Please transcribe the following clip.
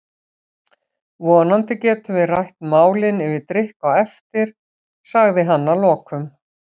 Vonandi getum við rætt málin yfir drykk á eftir, sagði hann að lokum.